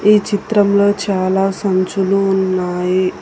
ఈ చిత్రంలో చాలా సంచులు ఉన్నాయి.